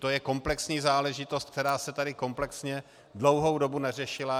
To je komplexní záležitost, která se tady komplexně dlouhou dobu neřešila.